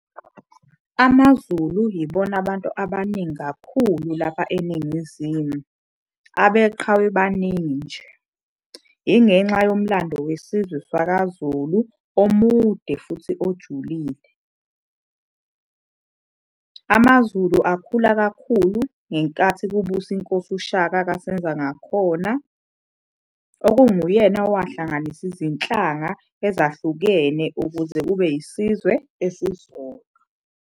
AmaZulu yibona abantu abaningi kakhulu lapha eNingizimu, abeqhawe baningi nje, ingenxa yomlando wesizwe sakwaZulu omude futhi ojulile. AmaZulu akhula kakhulu ngenkathi kubusa inkosi uShaka kaSenzangakhona, okunguyena owahlanganisa izinhlanga ezahlukene ukuze kube isizwe esisodwa.